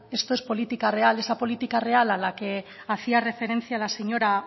esto es política real esa política real a la que hacía referencia la señora